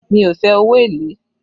Mi ò fe owó èlé